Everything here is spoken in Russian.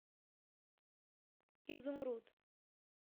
изумруд